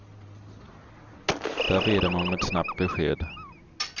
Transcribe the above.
Där ber de om ett snabbt besked.